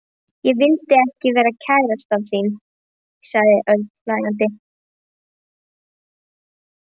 Ekki vildi ég vera kærastan þín sagði Örn hlæjandi.